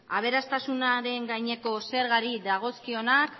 aberastasunaren gaineko zergari dagozkionak